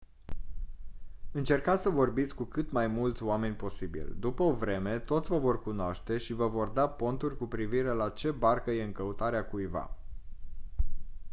încercați să vorbiți cu cât mai mulți oameni posibil după o vreme toți vă vor cunoaște și vă vor da ponturi cu privire la ce barcă e în căutarea cuiva